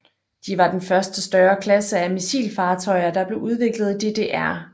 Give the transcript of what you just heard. De var den første større klasse af missilfartøjer der blev udviklet i DDR